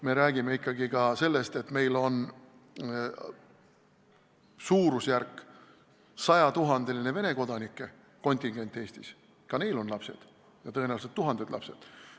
Me räägime ikkagi ka sellest, et meil on Eestis suurusjärgus 100 000 Vene kodanikku ja ka neil on lapsed, tõenäoliselt tuhanded lapsed.